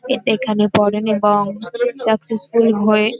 এটা এখানে পরেন এবং সাকসেসফুল হয়ে ।